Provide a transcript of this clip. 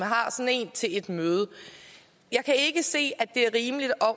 har sådan en til et møde jeg kan ikke se det er rimeligt